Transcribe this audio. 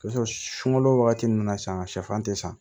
Sɔrɔ sunkalo wagati ninnu na sisan sɛfan tɛ san